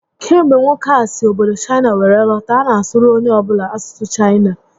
Kemgbe nwoke a si obodo Chaịna were lọta, ọ na asụrụ onye ọ bụla asụsụ Chaịna